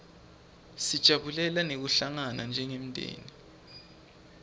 sijabulela nekuhlangana njengemndzeni